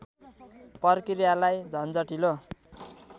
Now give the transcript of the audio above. प्रक्रियालाई झन्झटिलो